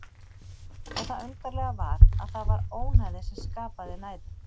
Og það undarlega var að það var ónæði sem skapaði næðið.